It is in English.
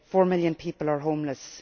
and 4 million people are homeless.